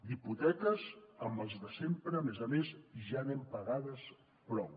d’hipoteques amb els de sempre a més a més ja n’hem pagades prou